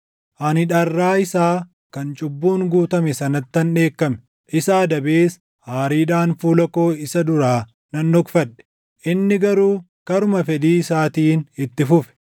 Ani dharraa isaa kan cubbuun guutame sanattan dheekkame; isa adabees aariidhaan fuula koo isa duraa nan dhokfadhe; inni garuu karuma fedhii isaatiin itti fufe.